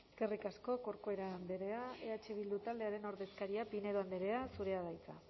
eskerrik asko corcuera andrea eh bildu taldearen ordezkaria pinedo andrea zurea da hitza